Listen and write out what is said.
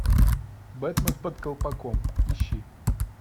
бэтмен под колпаком ищи